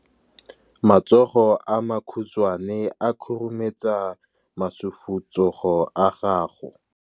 Matsogo a makhutshwane a khurumetsa masufutsogo a gago.